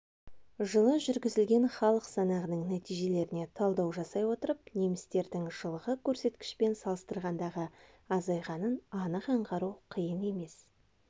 жылы жүргізілген халық санағының нәтижелеріне талдау жасай отырып немістердің жылғы көрсеткішпен салыстырғандағы азайғанын анық аңғару қиын емес